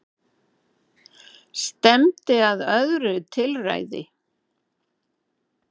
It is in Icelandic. Stefndi að öðru tilræði